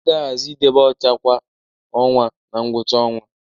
A ga-ahazi idebe ọcha kwa ọnwa na ngwụcha ọnwa